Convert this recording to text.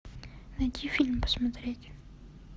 найди фильм посмотреть